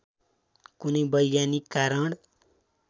कुनै वैज्ञानिक कारण